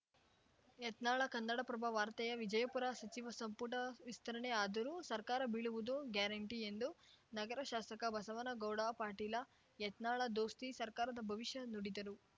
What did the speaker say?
ಯತ್ನಾಳ ಕನ್ನಡಪ್ರಭ ವಾರ್ತೆ ವಿಜಯಪುರ ಸಚಿವ ಸಂಪುಟ ವಿಸ್ತರಣೆ ಆದರೂ ಸರ್ಕಾರ ಬೀಳುವುದು ಗ್ಯಾರಂಟಿ ಎಂದು ನಗರ ಶಾಸಕ ಬಸನಗೌಡ ಪಾಟೀಲ ಯತ್ನಾಳ ದೋಸ್ತಿ ಸರ್ಕಾರದ ಭವಿಷ್ಯ ನುಡಿದರು